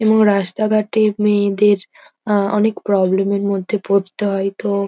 এবং রাস্তাঘাটে মেয়েদের আহ অনেক প্রবলেম -এর মধ্যে পড়তে হয় তো--